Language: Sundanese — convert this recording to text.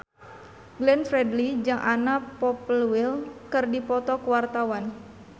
Glenn Fredly jeung Anna Popplewell keur dipoto ku wartawan